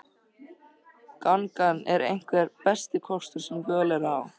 Gangan er einhver besti kostur sem völ er á.